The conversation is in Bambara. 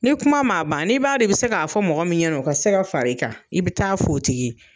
Ni kuma m'a ban, ni b'a dɔn i bi se ka fɔ mɔgɔ min ɲɛna o ka se ka fara i kan i be taa f'o tigi ye.